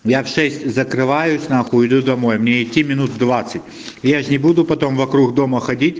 я в шесть закрываюсь нахуй иду домой мне идти минут двадцать я же не буду потом вокруг дома ходить